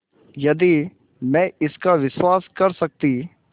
यदि मैं इसका विश्वास कर सकती